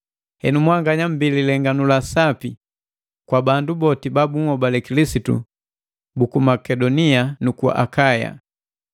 Henu mwanganya mbii lilenganu la sapi, kwa bandu boti babunhobale Kilisitu buku Makedonia nuku Akaya.